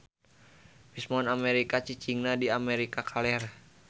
Bison Amerika cicingna di Amerika kaler.